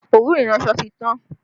Òwú iranso ti tán